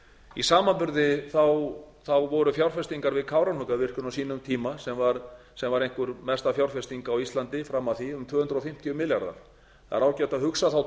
í samanburði voru fjárfestingar við kárahnjúkavirkjun á sínum tíma sem var einhver mesta fjárfesting á íslandi fram að því um tvö hundruð fimmtíu milljarðar það er ágætt að hugsa þá